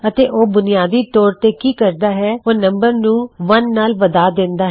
ਅਤੇ ਉਹ ਬੁਨਿਆਦੀ ਤੌਰ ਤੇ ਕੀ ਕਰਦਾ ਹੈ ਉਹ ਨਮ ਨੂੰ 1 ਨਾਲ ਵਧਾ ਦਿੰਦਾ ਹੈ